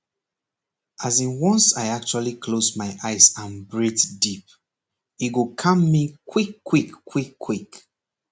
as in once i actually close my eyes and breathe deep e go calm me quickquick quickquick